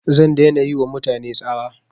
Zan dai na yi ma mutane tsawa